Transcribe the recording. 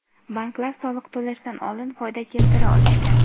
banklar soliq to‘lashdan oldin foyda keltira olishgan.